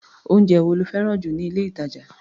Oúnjẹ wo lo fẹ́ràn jù ní ilé-ìtàjà?